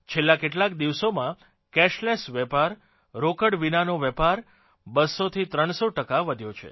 છેલ્લાં કેટલાક દિવસોમાં કેશલેસ વેપાર રોકડ વિનાનો વેપાર 200 થી 300 ટકા વધ્યો છે